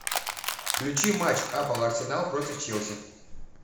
включи матч апл арсенал против челси